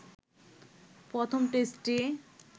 প্রথম টেস্টটি